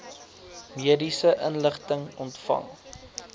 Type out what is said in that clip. mediese inligting ontvang